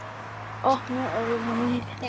Opnuðu augu mín.